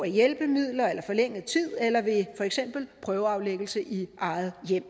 hjælpemidler eller forlænget tid eller ved for eksempel prøveaflæggelse i eget hjem